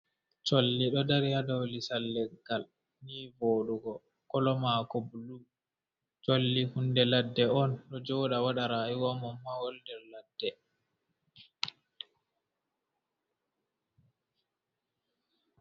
Colli ɗo dari haa dow lisal leggal, ni vooɗugo kolo maako, bulu, colli hunde ladde on, ɗo jooɗa waɗa rayuwa mum, mawal nder ladde.